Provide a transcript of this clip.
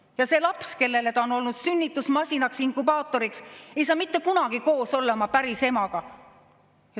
Ja see laps, kellele ta on olnud sünnitusmasinaks, inkubaatoriks, ei saa mitte kunagi olla koos oma päris emaga.